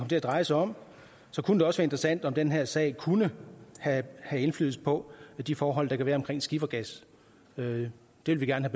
til at dreje sig om så kunne det også være interessant om den her sag kunne have indflydelse på de forhold der kan være omkring skifergas det vil vi gerne